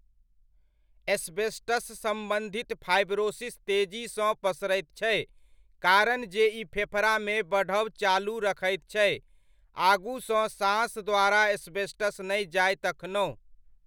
Asbestos सम्बन्धित fibrosis तेजीसँ पसरैत छै कारण जे ई फेफड़ामे बढ़ब चालू रखैत छै, आगूसँ साँस द्वारा एस्बेस्टस नहि जाय तखनहुँ।